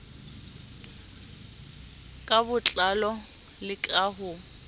ka botlalo le ka ho